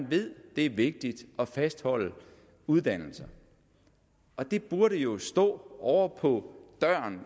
ved at det er vigtigt at fastholde uddannelser det burde jo stå ovre på døren